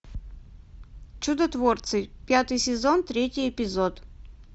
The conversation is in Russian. чудотворцы пятый сезон третий эпизод